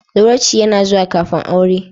Zawarcin yana zuwa kafin aure.